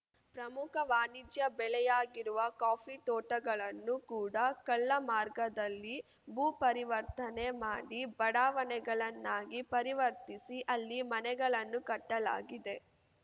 ಪ್ರಮುಖ ವಾಣಿಜ್ಯ ಬೆಳೆಯಾಗಿರುವ ಕಾಫಿ ತೋಟಗಳನ್ನು ಕೂಡ ಕಳ್ಳ ಮಾರ್ಗದಲ್ಲಿ ಭೂಪರಿವರ್ತನೆ ಮಾಡಿ ಬಡಾವಣೆಗಳನ್ನಾಗಿ ಪರಿವರ್ತಿಸಿ ಅಲ್ಲಿ ಮನೆಗಳನ್ನು ಕಟ್ಟಲಾಗಿದೆ